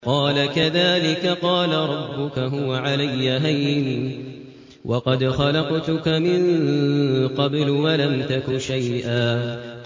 قَالَ كَذَٰلِكَ قَالَ رَبُّكَ هُوَ عَلَيَّ هَيِّنٌ وَقَدْ خَلَقْتُكَ مِن قَبْلُ وَلَمْ تَكُ شَيْئًا